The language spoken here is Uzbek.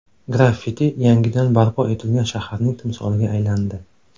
Graffiti yangidan barpo etilgan shaharning timsoliga aylandi.